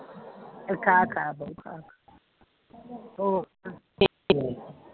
ਖਾ ਲਾ ਖਾ ਲਾ ਉਹ